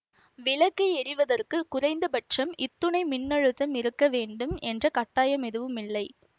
விளக்கு எரிவதற்கு குறைந்தபட்சம் இத்துணை மின்னழுத்தம் இருக்க வேண்டும் என்ற கட்டாயம் எதுவும் இல்லை